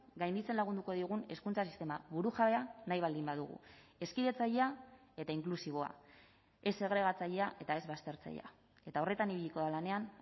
gainditzen lagunduko digun hezkuntza sistema burujabea nahi baldin badugu hezkidetzailea eta inklusiboa ez segregatzailea eta ez baztertzailea eta horretan ibiliko da lanean